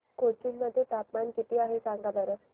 कोचीन मध्ये तापमान किती आहे सांगा बरं